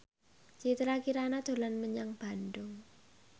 Citra Kirana dolan menyang Bandung